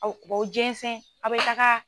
Aw jɛnzɛn a' bɛ taga.